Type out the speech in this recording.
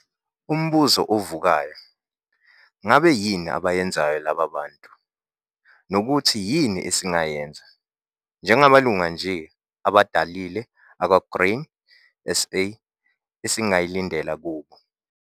UMBUZO OVUKAYO, NGABE YINI ABAYENZAYO LABA BANTU NOKUTHI YINI ESINGAYENZA, NJENGAMALUNGU NJE ABHADALILE AKWA-GRAIN SA, ESINGAYILINDELA KUBO?